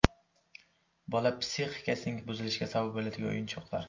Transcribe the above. Bola psixikasining buzilishiga sabab bo‘ladigan o‘yinchoqlar.